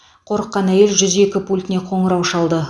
қорыққан әйел жүз екі пультіне қоңырау шалды